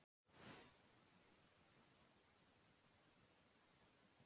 Einstaka sinnum bárust þó köll frá börnum að leik inn um opinn glugga.